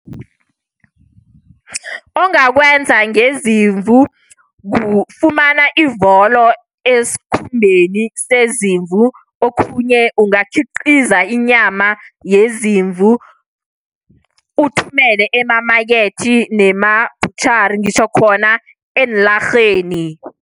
Ongakwenza ngezimvu, kufumana ivolo esikhumbeni sezimvu, okhunye ungakhiqiza inyama yezimvu, uthumele emamakethe nemabhutjhari. Ngitjho khona eenlarheni.